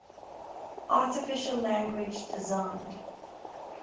artificial language designed